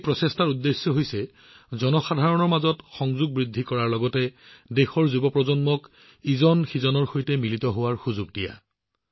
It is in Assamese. এই প্ৰচেষ্টাৰ উদ্দেশ্য হৈছে পিপল টু পিপল কানেক্ট বৃদ্ধি কৰাৰ লগতে দেশৰ যুৱপ্ৰজন্মক ইজনে সিজনৰ সৈতে সংযোগ স্থাপন কৰাৰ সুযোগ দিয়া